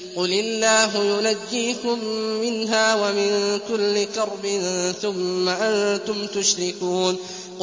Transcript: قُلِ اللَّهُ يُنَجِّيكُم مِّنْهَا وَمِن كُلِّ كَرْبٍ ثُمَّ أَنتُمْ تُشْرِكُونَ